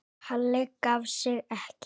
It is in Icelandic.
Halli gaf sig ekki.